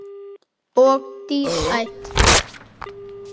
Og dísætt.